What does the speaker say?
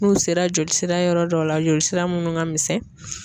N'u sera joli sira yɔrɔ dɔ la joli sira munnu ka misɛn.